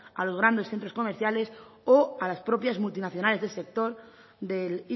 a los grandes centros comerciales o a las propias multinacionales del sector del